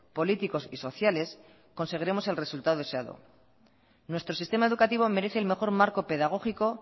políticos y sociales conseguiremos el resultado deseado nuestro sistema educativo merece el mejor marco pedagógico